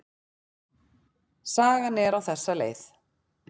Sagan er á þessa leið: